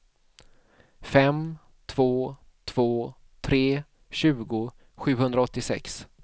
fem två två tre tjugo sjuhundraåttiosex